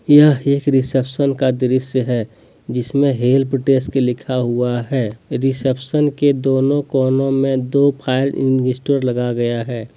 यह एक रिसेप्शन का दृश्य है जिसमें हेल्प डेस्क लिखा हुआ है रिसेप्शन के दोनों कोनों में दो फायर लगा गया है।